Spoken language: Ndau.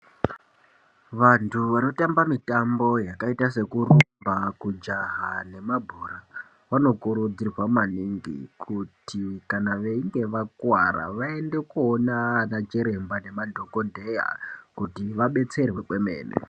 Vantu vanotambe mutambo takaita nekurumba kujaha nemabhora vanokurudzirwa maningi kuti kana veinge vakuwara vaende koona vanachiremba nemadhokodheya kuti vabetserwe kwemene.